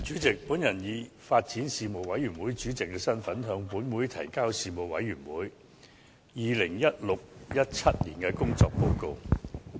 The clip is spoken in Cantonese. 主席，我以發展事務委員會主席的身份，向本會提交事務委員會 2016-2017 年度的工作報告。